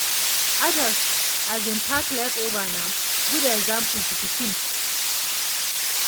adults um pack leftover nah good example to pikins